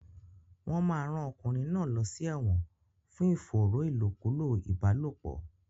Wọn máa rán ọkùnrin náà lọ sí ẹ̀wọ̀n fún ìfòòró ìlòkulò ìbálòpọ̀.